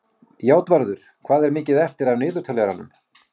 Játvarður, hvað er mikið eftir af niðurteljaranum?